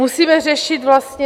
Musíme řešit vlastně...